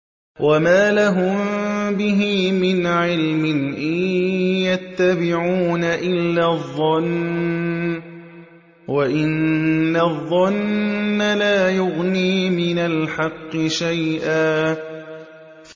وَمَا لَهُم بِهِ مِنْ عِلْمٍ ۖ إِن يَتَّبِعُونَ إِلَّا الظَّنَّ ۖ وَإِنَّ الظَّنَّ لَا يُغْنِي مِنَ الْحَقِّ شَيْئًا